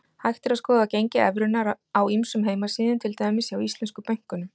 Hægt er að skoða gengi evrunnar á ýmsum heimasíðum, til dæmis hjá íslensku bönkunum.